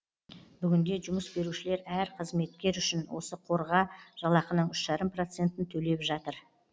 бүгінде жұмыс берушілер әр қызметкер үшін осы қорға жалақының үш жарым процентін төлеп жатыр